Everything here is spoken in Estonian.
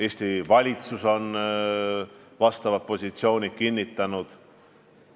Eesti valitsus on oma positsioonid kinnitanud.